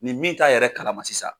Nin min t'a yɛrɛ kalama sisan